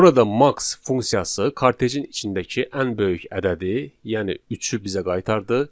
Burada max funksiyası kartejin içindəki ən böyük ədədi, yəni üçü bizə qaytardı.